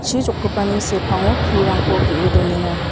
chi jokgipani sepango pulrangko ge·e donenga.